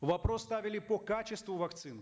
вопрос ставили по качеству вакцин